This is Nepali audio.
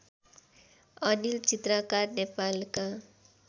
अनिल चित्रकार नेपालका